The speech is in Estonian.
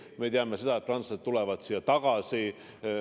Me teame seda, et prantslased tulevad siia tagasi.